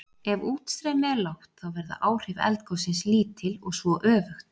Ef útstreymi er lágt þá verða áhrif eldgossins lítil og svo öfugt.